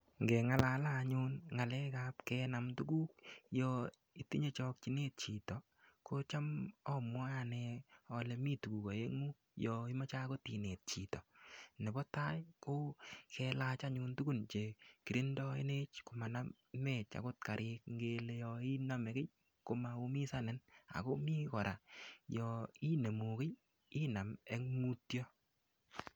Nge ng'alale anyun ng'alek ab kenam tuguk yo itinye chakchinet chito kocham amwae ane ale mi tuguk aeng'u yo imache akot inet chito, nepo tai ko kelach anyun tugun chekirindoenech komanamech akot karit ngele yoiname kiy komaumisanin akomii kora yo inemu kiy inam eng' mutyo.